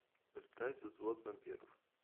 поставь взвод вампиров